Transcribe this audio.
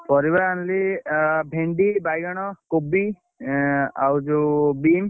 ପରିବା ଆଣିଲି ଆଁ ଭେଣ୍ଡି, ବାଇଗଣ, କୋବି, ଆ ଆଉ ଯୋଉ ବିମ୍,